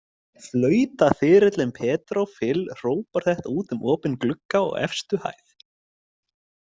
Flautaþyrillinn Pedro Fill hrópar þetta út um opinn glugga á efstu hæð.